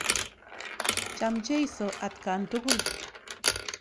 Cham jeiso atkan tukul.